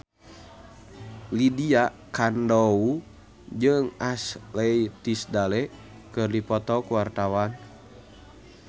Lydia Kandou jeung Ashley Tisdale keur dipoto ku wartawan